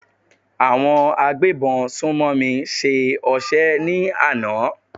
Àwọn agbébọn sùnmọ̀mí ṣe ọṣẹ́ ní àná.